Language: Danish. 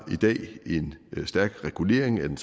en stærk regulering af den